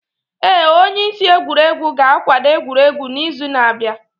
Ee, onye isi egwuregwu ga-akwado egwuregwu n'izu na-abịa.